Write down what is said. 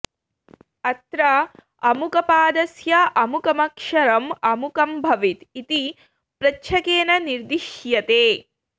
अत्र अमुकपादस्य अमुकमक्षरम् अमुकं भवेत् इति प्रच्छकेन निर्दिश्यते